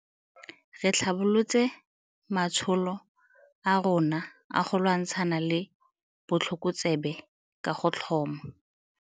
Re tlhabolotse matsholo a rona a go lwantshana le botlhokotsebe ka go tlhoma.